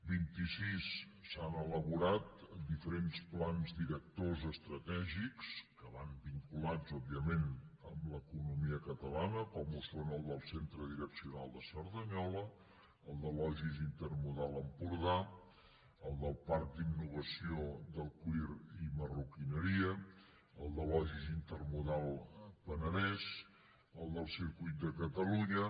vint i sis s’han elaborat diferents plans directors estratègics que van vinculats òbviament amb l’economia catalana com ho són el del centre direccional de cerdanyola el del logis intermodal empordà el del parc d’innovació del cuir i marroquineria el del logis intermodal penedès el del circuit de catalunya